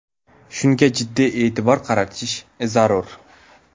Shunga jiddiy e’tibor qaratish zarur.